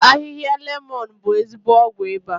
Ahịhịa lemọ̀n bụ ezigbo ọgwụ ịba